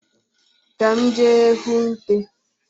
Ka m jee hụ nte